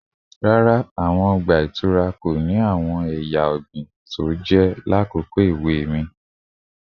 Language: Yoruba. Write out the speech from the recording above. Rara, awọn ọgba-itura ọgba ko ni awọn eya ọgbin toje lakoko ewe mi